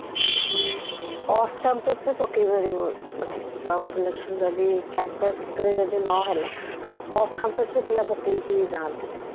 off campus ବି ପକେଇ ପାରିବୁ ମାନେ ଯଦି job selection ଯଦି campus ରେ ଯଦି ନହେଲା off campus ରେ ବି ପିଲା ପକେଇକି ଯାନ୍ତି